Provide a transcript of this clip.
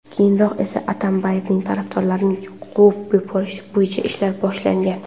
Keyinroq esa Atambayevning tarafdorlarini quvib yuborish bo‘yicha ishlar boshlangan.